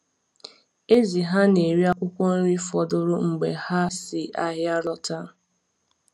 Ezì ha na-eri akwụkwọ nri fọdụrụ mgbe ha si ahịa lọta.